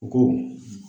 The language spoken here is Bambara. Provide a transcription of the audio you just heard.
U ko